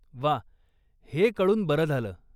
वा! हे कळून बरं झालं.